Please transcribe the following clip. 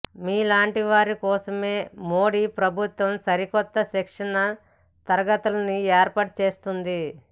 మీలాంటివారి కోసమే మోడీ ప్రభుత్వం సరికొత్త శిక్షణా తరగతుల్ని ఏర్పాటు చేస్తోంది